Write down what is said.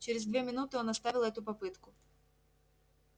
через две минуты он оставил эту попытку